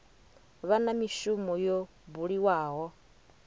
vha na mishumo yo buliwaho